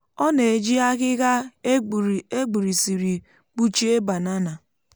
ọ na-eji ahịhịa e gburisiri kpuchie banana.